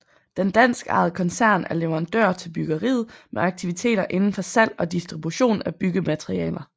Den danskejede koncern er leverandør til byggeriet med aktiviteter inden for salg og distribution af byggematerialer